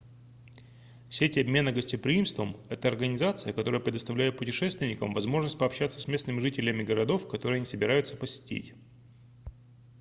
сеть обмена гостеприимством это организация которая предоставляет путешественникам возможность пообщаться с местными жителями городов которые они собираются посетить